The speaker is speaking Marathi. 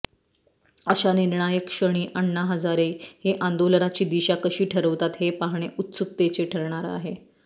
अशा निर्णायक क्षणी अण्णा हजारे हे आंदोलनाची दिशा कशी ठरवतात हे पाहणे उत्सुकतेचे ठरणार आहे